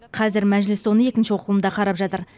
қазір мәжіліс оны екінші оқылымда қарап жатыр